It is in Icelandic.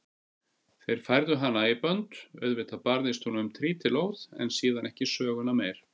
Þeir færðu hana í bönd, auðvitað barðist hún um trítilóð en síðan ekki söguna meir.